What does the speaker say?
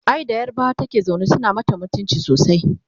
ai da yarbawa take zaune suna mata mutumci sosai